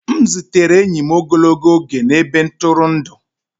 M zutere enyi m ogologo oge na ebe ntụrụndụ